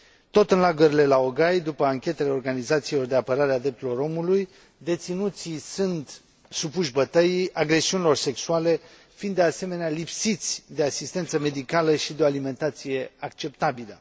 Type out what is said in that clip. Tot în lagărele laogai, după anchetele organizațiilor de apărare a drepturilor omului, deținuții sunt supuși bătăii, agresiunilor sexuale, fiind, de asemenea, lipsiți de asistență medicală și de o alimentație acceptabilă.